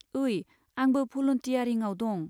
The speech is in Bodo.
ओइ, आंबो भलुन्टियारिंआव दं।